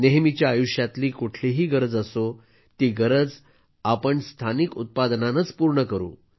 नेहमीच्या आयुष्यातली कुठलीही गरज असो ती गरज आपण स्थानिक उत्पादनानच पूर्ण करू